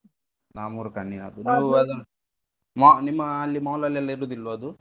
ಹಾ ಮೂರು ಮಾ~ ನಿಮ್ಮ ಅಲ್ಲಿ mall ಅಲ್ಲೆಲ್ಲಾ ಇರುದಿಲ್ವಾ ಅದು?